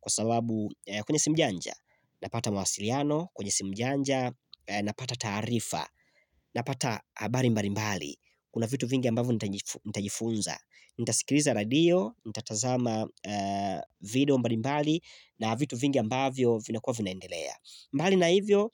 Kwa sababu kwenye simu janja napata mawasiliano kwenye simu janja napata taarifa Napata habari mbali mbali kuna vitu vingi ambavyo nitajifunza nitasikiliza radio, nitatazama video mbali mbali na vitu vingi ambavyo vina kua vinaendelea mbali na hivyo,